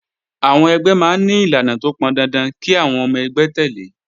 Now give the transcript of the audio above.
Àwọn ẹgbẹ́ máa ń ní ìlànà tó pọn dandan kí àwọn ọmọ ẹgbẹ́ tẹ̀lé